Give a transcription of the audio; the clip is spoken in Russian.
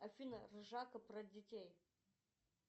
афина ржака про детей